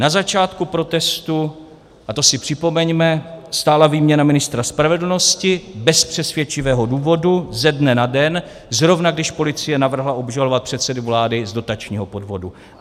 Na začátku protestů, a to si připomeňme, stála výměna ministra spravedlnosti bez přesvědčivého důvodu ze dne na den, zrovna když policie navrhla obžalovat předsedu vlády z dotačního podvodu.